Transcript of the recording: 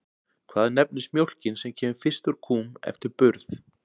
Hvað nefnist mjólkin sem kemur fyrst úr kúm eftir burð?